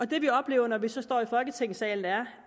det vi oplever når vi så står i folketingssalen er